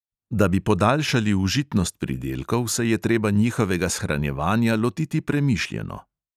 Da bi podaljšali užitnost pridelkov, se je treba njihovega shranjevanja lotiti premišljeno.